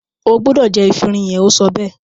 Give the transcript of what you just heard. o gbúdọ̀ jẹ “efinrin” yẹn! ó sọ bẹ́ẹ̀.